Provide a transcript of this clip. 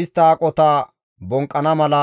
Istta aqota bonqqana mala,